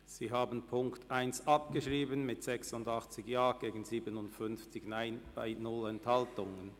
Sie haben die Ziffer 1 abgeschrieben mit 86 Ja- gegen 57 Nein-Stimmen bei keiner Enthaltung.